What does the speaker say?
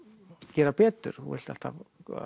gera betur þú vilt alltaf